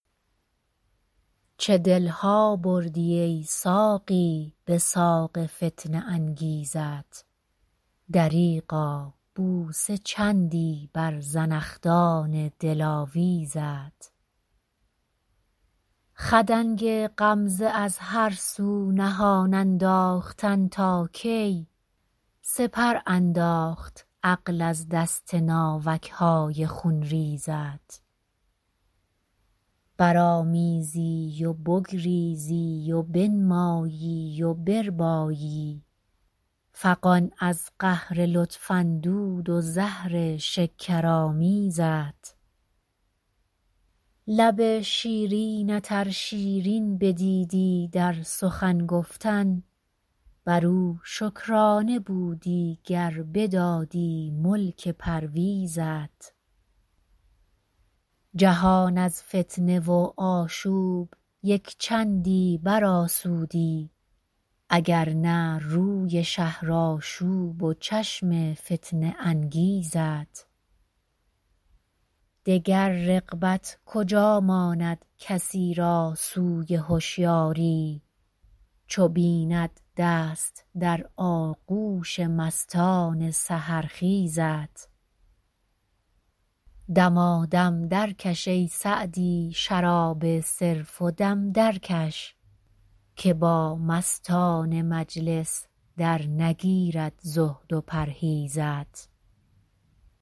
چه دل ها بردی ای ساقی به ساق فتنه انگیزت دریغا بوسه چندی بر زنخدان دلاویزت خدنگ غمزه از هر سو نهان انداختن تا کی سپر انداخت عقل از دست ناوک های خونریزت برآمیزی و بگریزی و بنمایی و بربایی فغان از قهر لطف اندود و زهر شکرآمیزت لب شیرینت ار شیرین بدیدی در سخن گفتن بر او شکرانه بودی گر بدادی ملک پرویزت جهان از فتنه و آشوب یک چندی برآسودی اگر نه روی شهرآشوب و چشم فتنه انگیزت دگر رغبت کجا ماند کسی را سوی هشیاری چو بیند دست در آغوش مستان سحرخیزت دمادم درکش ای سعدی شراب صرف و دم درکش که با مستان مجلس درنگیرد زهد و پرهیزت